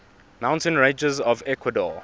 mountain ranges of ecuador